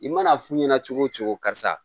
I mana fu ɲɛna cogo o cogo karisa